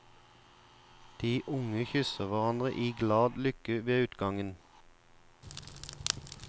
De unge kysser hverandre i glad lykke ved utgangen.